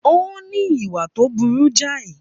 Ó ní ìwà tó burú jáì